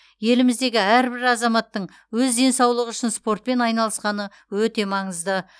еліміздегі әрбір азаматтың өз денсаулығы үшін спортпен айналысқаны өте маңызды